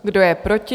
Kdo je proti?